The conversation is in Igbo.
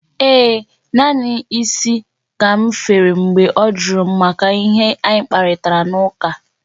Ee, naanị isi ka m fere mgbe ọ jụrụ m maka ihe anyị kparịtara n'ụka.